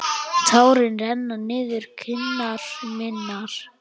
Tárin renna niður kinnar mínar.